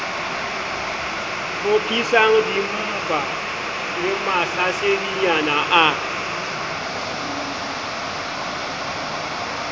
hlophisang dimmapa le mahlasedinyana a